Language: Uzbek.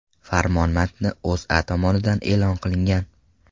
Farmon matni O‘zA tomonidan e’lon qilingan .